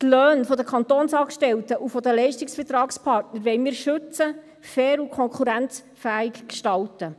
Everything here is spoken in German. Die Löhne der Kantonsangestellten und der Leistungsvertragspartner wollen wir schützen und sie fair und konkurrenzfähig gestalten.